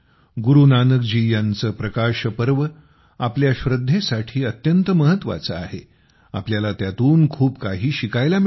गुरु नानक जी यांचे प्रकाश पर्व आपल्या श्रद्धेसाठी अत्यंत महत्त्वाचे आहे आपल्याला त्यातून खूप काही शिकायला मिळते